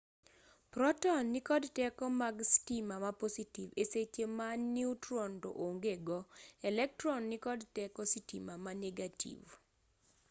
proton nikod teko mag sitima ma positiv e seche ma neutron to ongego elektron nikod teko sitima ma negativ